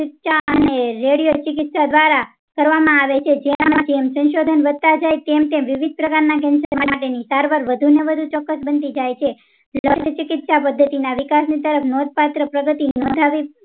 અને રેડિયોચિકિત્સક દ્વારા કરવા માં આવે છે જેમ જેમ સંશોધન વધતા જાય તેમ તેમ વિવિધ પ્રકારના cancer માટેની સારવાર વધુ ને વધુ ચોક્કસ બનતી જાય છે રેડિયોચિકિત્સા પદ્ધતિ ના વિકાસની તરફ નોંધપાત્ર પ્રગતિ નોંધાવી